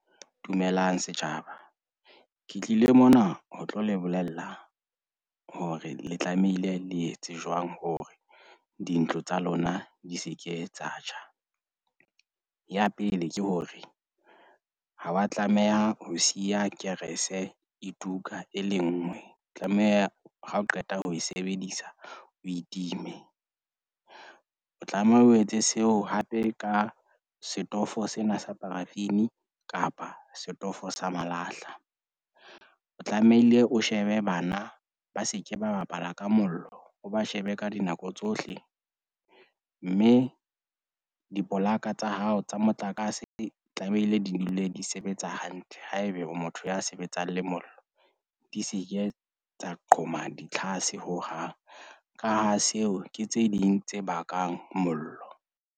Dumelang, setjhaba. Ke tlile mona ho tlo le bolella hore le tlamehile le etse jwang hore dintlo tsa lona di se ke tsa tjha. Ya pele, ke hore ha wa tlameha ho siya kerese e tuka e le nngwe. Tlameha ha o qeta ho e sebedisa, o itime. O tlameha o etse seo hape ka setofo sena sa paraffin kapa setofo sa malahla. O tlamehile o shebe bana ba se ke ba bapala ka mollo, o ba shebe ka dinako tsohle. Mme dipolaka tsa hao tsa motlakase tlamehile di dule di sebetsa hantle. Haebe o motho ya sebetsang le mollo, di se ke tsa qhoma ditlhase hohang. Ka ha seo ke tse ding tse bakang mollo.